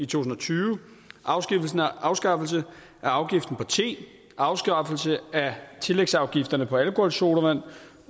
tusind og tyve afskaffelse af afgiften på te afskaffelse af tillægsafgifterne på alkoholsodavand